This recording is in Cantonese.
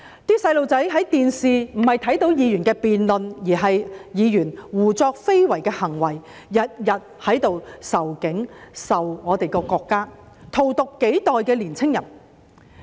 那些小孩看電視時，看到的並不是議員的辯論，而是議員胡作非為的行為，每天在這裏仇警、仇恨我們的國家，荼毒香港幾代的年青人。